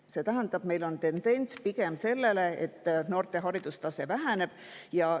See tähendab, et meil on pigem selline tendents, et noorte haridustase.